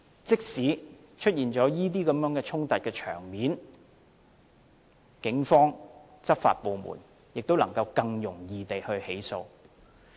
即使出現這些衝突場面，警方和執法部門也能更容易作出起訴。